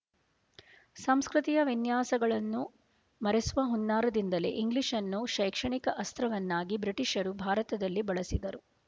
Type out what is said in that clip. ಸಂಸ್ಕೃತಿ ಯ ವಿನ್ಯಾಸಗಳನ್ನು ಮರೆಸುವ ಹುನ್ನಾರದಿಂದಲೇ ಇಂಗ್ಲೀಷನ್ನು ಶೈಕ್ಷಣಿಕ ಅಸ್ತ್ರವನ್ನಾಗಿ ಬ್ರಿಟಿಷರು ಭಾರತದಲ್ಲಿ ಬಳಸಿದರು